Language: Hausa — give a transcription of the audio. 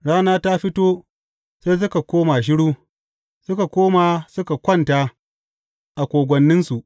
Rana ta fito, sai suka koma shiru; suka koma suka kwanta a kogwanninsu.